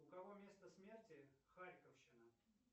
у кого место смерти харьковщина